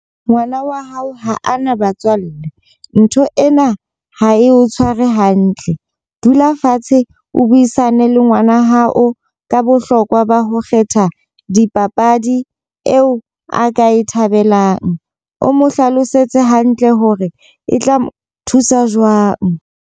Ngwana wa hao ha ana batswalle. Ntho ena ha e o tshware hantle. Dula fatshe o buisane le ngwana hao ka bohlokwa ba ho kgetha dipapadi eo a ka e thabelang. O mo hlalosetse hantle hore e tla mo thusa jwang.